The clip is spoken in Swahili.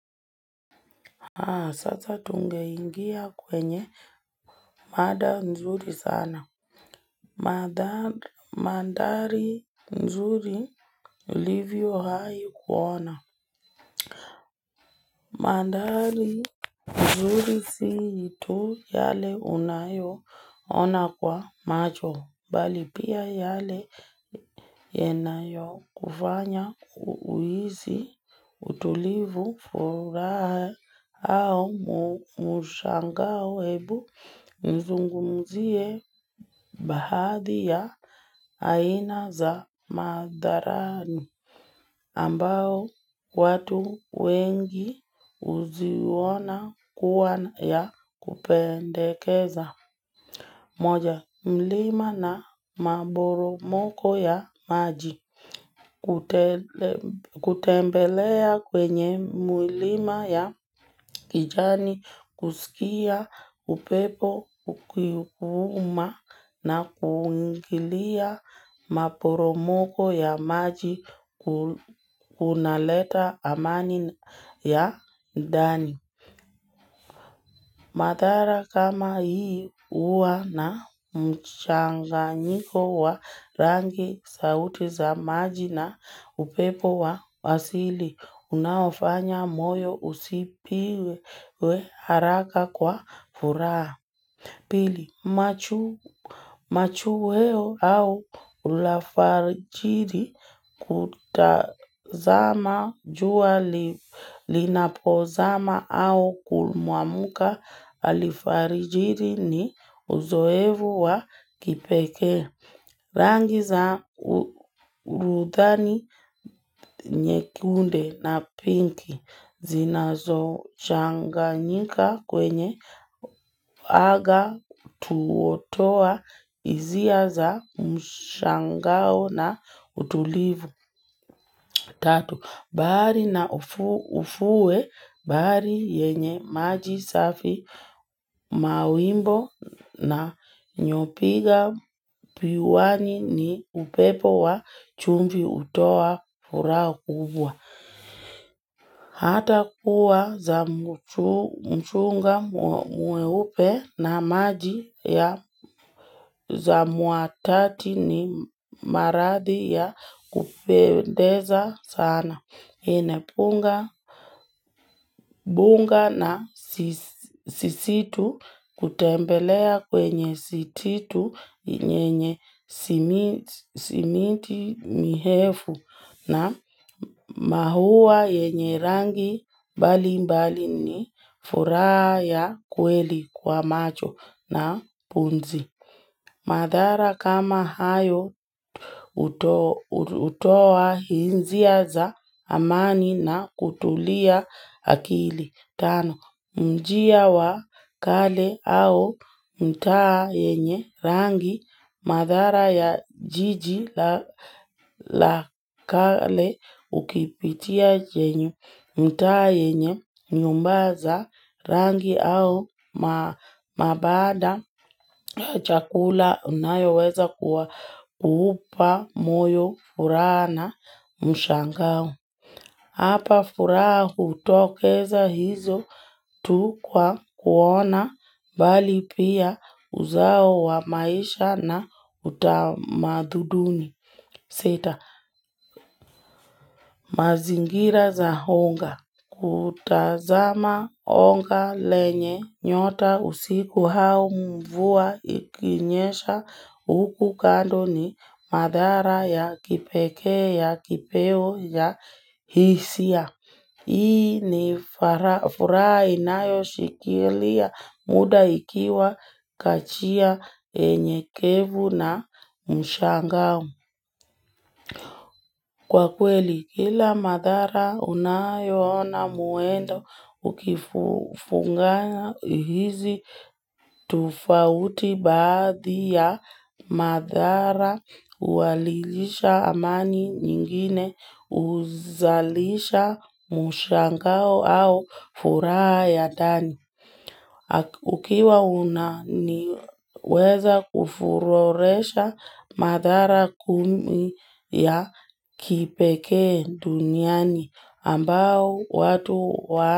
Haa sasa tungeingia kwenye madha nzuri sana Madha mandhari nzuri ilivyo hai kuona mandhari nzuri situ yale unayo ona kwa macho Bali pia yale yanayo kufanya kuisi utulivu furaha au mushangao hebu nizungumzie bahadhi ya aina za madharani. Ambao watu wengi uziona kuwa na ya kupendekeza. Moja, mlima na maboromoko ya maji. Kutembelea kwenye mlima ya kijani, kusikia, upepo, kukuhuma na kuungilia maporomoko ya maji hunaleta amani ya ndani. Mathara kama hii huwa na mchanganyiko wa rangi sauti za maji na upepo wa asili. Unaofanya moyo usipiwe haraka kwa furaha. Pili, machweo au ulafarijiri kutazama jua linapozama au kumwamuka alifajiri ni uzoevu wa kipeke. Rangi za urudhani nyekunde na pinki zinazo changanyika kwenye aga tuotoa izia za mshangao na utulivu. Tatu, bahari na ufue bahari yenye maji safi mawimbo na nyopiga piwani ni upepo wa chumvi utoa furaha kubwa. Hata kuwa za mchunga mweupe na maji ya za muatati ni marathi ya kupendeza sana. Hinapunga na sisitu kutembelea kwenye sititu nyenye simiti mihefu na mahuwa yenye rangi bali mbali ni furaha yaa kweli kwa macho na pumzi. Madhara kama hayo hutoa hinzia za amani na kutulia akili. Tano, mji wa kale au mtaa yenye rangi madhara ya jiji la kale ukipitia jenye mtaa yenye nyumba za rangi au mabanda chakula unayoweza kuwa upa moyo furaha mshangao. Hapa furaha utokeza hizo tu kwa kuona bali pia uzao wa maisha na utamadhuduni. Sita, mazingira za honga. Kutazama honga lenye nyota usiku hau mvua ikinyesha huku kando ni mandhara ya kipeke ya kipeo ya hisia. Hii ni furaha inayo shikilia muda ikiwa kachia enyekevu na mshangao. Kwa kweli, kila madhara unayoona muendo ukifunga hizi tofauti baadhi ya madhara walilisha amani nyingine uzalisha mushangao au furaha ya ndani. Ukiwa una niweza kufuroresha madhara kumi ya kipekee duniani ambao watu wa.